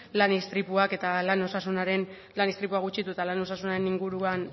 lan istripuak eta lan osasunaren lan istripuak gutxitu eta lan osasunaren inguruan